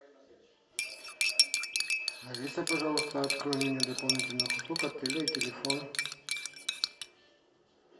алиса пожалуйста открой меню дополнительных услуг отеля и телефон